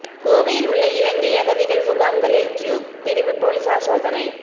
கோவையில் உள்ள இலங்கை அகதிகள் முகாம்களில் கியூ பிரிவு போலீஸாா் சோதனை